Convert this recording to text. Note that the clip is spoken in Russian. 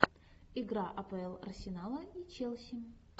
игра апл арсенала и челси